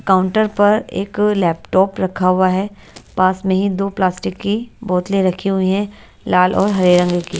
counter पर एक laptop रखा हुआ है पास में ही दो प्लास्टिक की बोतले रखी हुई है लाल और हरे रंग की --